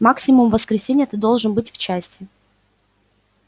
максимум в воскресенье ты должен быть в части